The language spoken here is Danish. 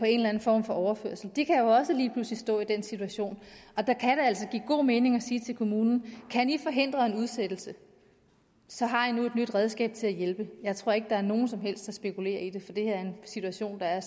eller anden form for overførsel de kan jo også lige pludselig stå i den situation og der kan det altså give god mening at sige til kommunen kan i forhindre en udsættelse så har i nu et nyt redskab til at hjælpe jeg tror ikke at der er nogen som helst der spekulerer i det for det her er en situation der er